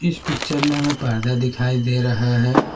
इस पिक्चर में हमें पर्दा दिखाई दे रहा है।